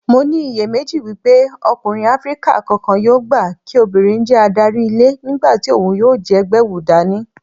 Mo ní iyèméjì wípé ọkùnrin Áfríkà kankan yóò gbà kí obìnrin jẹ́ adarí ilé nígbàtí òhun yóò jẹ́ gbẹ̀wùdání.